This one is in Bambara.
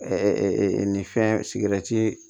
nin fɛn sigɛrɛti